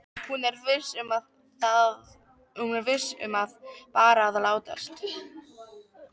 Hún er viss um að hann er bara að látast.